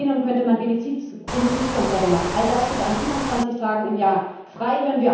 Im Plenum könnte man Benefizkonzerte machen, all das steht an 27 Tagen im Jahr frei.